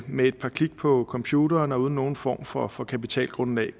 med et par klik på computeren og uden nogen form for for kapitalgrundlag